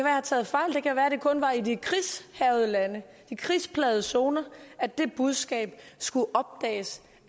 har taget fejl det kan være at det kun var i de krigshærgede lande i de kriseplagede zoner at det budskab skulle opdages